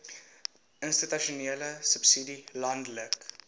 institusionele subsidie landelike